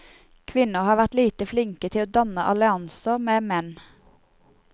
Kvinner har vært lite flinke til å danne allianser med menn.